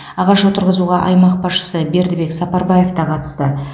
ағаш отырғызуға аймақ басшысы бердібек сапарбаев та қатысты